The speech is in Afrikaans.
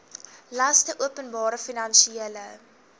laste openbare finansiële